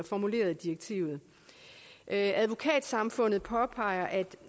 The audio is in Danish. formuleret i direktivet advokatsamfundet påpeger at